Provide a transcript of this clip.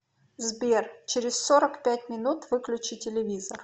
сбер через сорок пять минут выключи телевизор